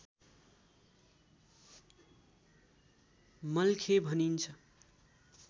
मल्खे भनिन्छ